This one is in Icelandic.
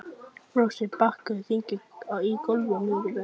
Flosi, bókaðu hring í golf á miðvikudaginn.